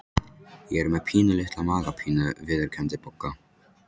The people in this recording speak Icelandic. Ég er með pínulitla magapínu viðurkenndi Bogga.